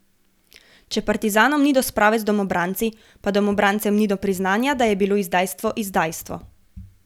Če partizanom ni do sprave z domobranci, pa domobrancem ni do priznanja, da je bilo izdajstvo izdajstvo.